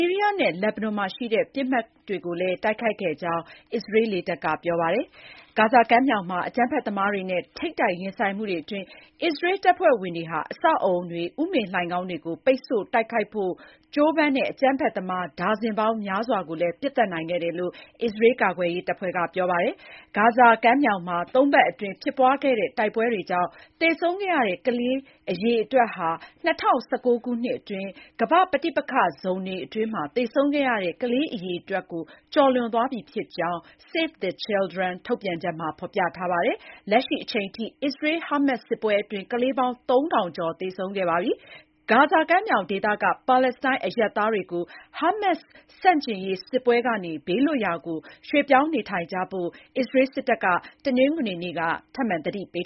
ီးရီးယားနဲ့ လက်ဘနွန်မှာရှိတဲ့ ပစ်မှတ်တွေကိုလည်း တိုက်ခိုက်ခဲ့တယ်လို့ အစ္စရေးလေတပ်က ပြောပါတယ်။ ဂါဇာကမ်းမြောင်မှာ အကြမ်းဖက်သမားတွေနဲ့ ထိပ်တိုက်ရင်ဆိုင်မှုတွေအတွင်း အစ္စရေး တပ်ဖွဲ့ဝင်တွေဟာ အဆောက်အဦတွေ၊ ဥမင်လှိုဏ်ခေါင်းတွေကို ပိတ်ဆို့တိုက်ခိုက်ဖို့ ကြိုးပမ်းတဲ့ အကြမ်းဖက်သမား ဒါဇင်ပေါင်းများစွာကို ပစ်သတ်နိုင်ခဲ့တယ်လို့အစ္စရေးကာကွယ်ရေးတပ်ဖွဲ့က ပြောပါတယ်။ ဂါဇာကမ်းမှာ သုံးပတ်အတွင်း ဖြစ်ပွားခဲ့တဲ့ တိုက်ပွဲတွေကြောင့် သေဆုံးခဲ့ရတဲ့ ကလေးငယ်အရေအတွက်ဟာ ၂၀၁၉ ခုနှစ်အတွင်း ကမ္ဘာ့ပဋိပက္ခဇုန်တွေအတွင်းမှာ သေဆုံးခဲ့ရတဲ့ ကလေးအရေအတွက်ကို ကျော်လွန်သွားပြီဖြစ်ကြောင်း Save the Children ထုတ်ပြန်ချက်မှာ ဖော်ပြပါတယ်။ လက်ရှိအချိန်အထိ အစ္စရေး-ဟာမတ်စ် စစ်ပွဲအတွင်း ကလေးပေါင်း ၃၀၀၀ ကျော် သေဆုံးခဲ့ရပါတယ်။ ဂါဇာကမ်းမြောင်ဒေသက ပါလက်စတိုင်းအရပ်သားတွေကို ဟာမတ်စ်ဆန့်ကျင်ရေးစစ်ပွဲကနေ ဘေးလွတ်ရာကို ရွှေ့ပြောင်းနေထိုင်ကြဖို့ အစ္စရေးစစ်တပ်က တနင်္ဂနွေနေ့က ထပ်မံသတိပေး